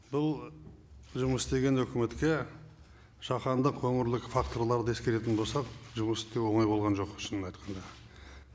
бұл жұмыс істеген үкіметке жаһандық өңірлік факторларды ескеретін болсақ жұмыс істеу оңай болған жоқ шынын айтқанда